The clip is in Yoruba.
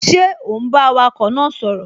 Ṣé ò ún bá awakọ̀ náà sọ̀rọ̀?